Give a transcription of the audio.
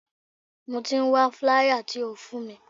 Mo ti ń wá flier tí o fún mi.